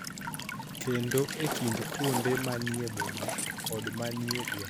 Kendo e kind kuonde ma ni e boma kod ma ni e gwenge.